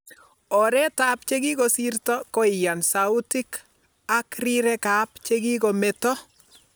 Oreet ap chegigosiirto koiyaan sautik ak riirek ap chekokomeeto.